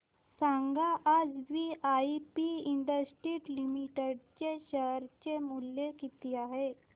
सांगा आज VIP industries limited चे शेअर चे मूल्य किती आहे